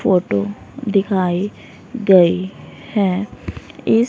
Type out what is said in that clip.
photo दिखाई गई है इस--